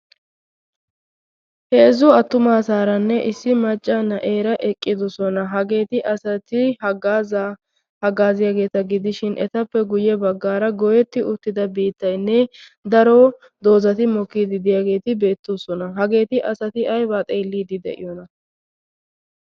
Heezzu attumasaranne issi maccaa na'eera eqqidoosona. hageeti asati hagazza haggazziyaageeta gidishin etuppe guyye baggara goyyeti uttida biittaynne daro mokkide de'iya doozati beettoosona. hageeti asati aybba xeellide de'iyoona?